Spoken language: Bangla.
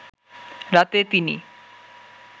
রাতে তিনি